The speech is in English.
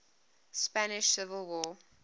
spanish civil war